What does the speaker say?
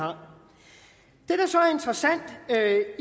der så er